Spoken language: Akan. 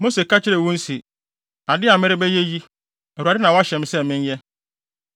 Mose ka kyerɛɛ wɔn se, “Ade a merebɛyɛ yi, Awurade na wahyɛ me sɛ menyɛ.”